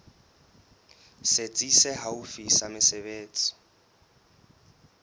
setsi se haufi sa mesebetsi